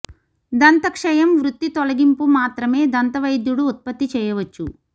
దంత క్షయం వృత్తి తొలగింపు మాత్రమే దంతవైద్యుడు ఉత్పత్తి చేయవచ్చు